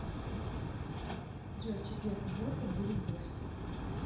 джой в четверг в волхов будет дождь